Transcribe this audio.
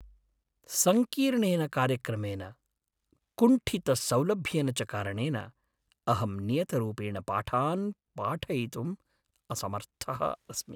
सङ्कीर्णेन कार्यक्रमेन, कुण्ठितसौलभ्येन च कारणेन, अहं नियतरूपेण पाठान् पाठयितुम् असमर्थः अस्मि।